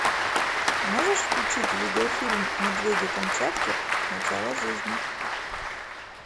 можешь включить видеофильм медведи камчатки начало жизни